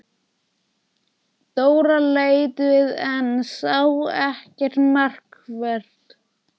Dóra leit við en sá ekkert markvert.